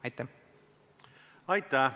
Aitäh!